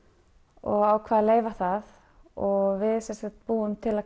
og ákvað að leyfa það og við sem sagt búum til